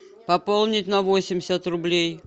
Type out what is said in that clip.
пополнить на восемьдесят рублей